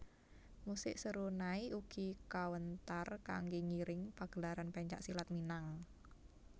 Musik serunai ugi kawéntar kanggé ngiring pagelaran pencak silat Minang